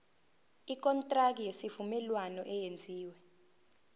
ikontraki yesivumelwano eyenziwe